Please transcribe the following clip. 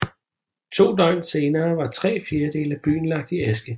To døgn senere var tre fjerdedele af byen lagt i aske